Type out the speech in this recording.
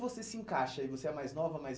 Você se encaixa aí, você é a mais nova, a mais